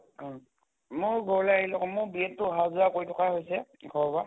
অহ ময়ো ঘৰলৈ আহিলো আকৌ মোৰ B Ed তো অহা যোৱা কৰি থকাই হৈছে ঘৰৰ পা